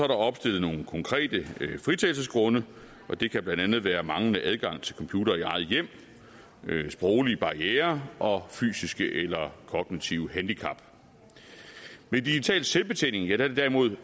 der opstillet nogle konkrete fritagelsesgrunde og det kan blandt andet være manglende adgang til computer i eget hjem sproglige barrierer og fysiske eller kognitive handicap med digital selvbetjening er det derimod